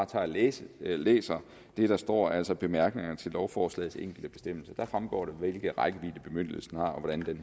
tage og læse læse det der står altså bemærkningerne til lovforslagets enkelte bestemmelser der fremgår det hvilken rækkevidde bemyndigelsen har